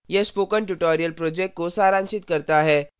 यह spoken tutorial project को सारांशित करता है